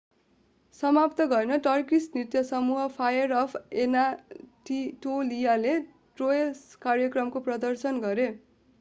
समाप्त गर्न टर्किस नृत्य समूह फायर अफ एनाटोलियाले ट्रोय कार्यक्रमको प्रदर्शन गरे